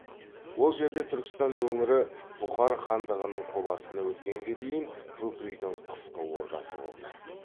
ол жерде түркістан өңірі бұхар хандығының қол астына өткенге дейін бөкейдің қысқы ордасы болды